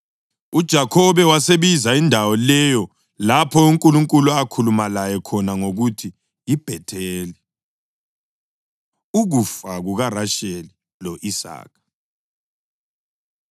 UJakhobe wasebiza indawo leyo lapho uNkulunkulu akhuluma laye khona ngokuthi yiBhetheli. Ukufa KukaRasheli Lo-Isaka